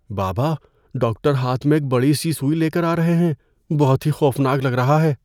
بابا، ڈاکٹر ہاتھ میں ایک بڑی سی سوئی لے کر آ رہے ہیں۔ بہت ہی خوفناک لگ رہا ہے۔